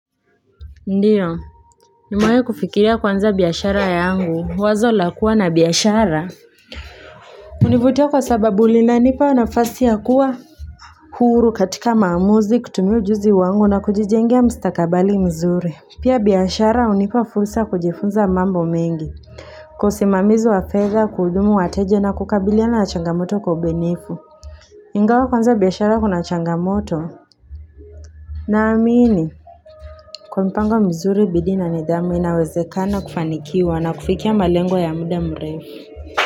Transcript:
Ndiyo, nimewai kufikiria kuanza biashara yangu, wazo la kuwa na biashara. Univutia kwa sababu linanipa nafasi ya kuwa. Huru katika maamuzi, kutumia ujuzi wangu na kujijengia mstakabali mzuri. Pia biashara hunipa fursa kujifunza mambo mengi. Kwa isimamizi wa fedha, kuhudumu wateje na kukabiliana na changamoto kwa ubunifu. Ingawa kuanza biashara kuna changamoto. Naamini. Kwa mpango mzuri bidii na nidhamu inawezekana kufanikiwa na kufikia malengo ya muda mrefu.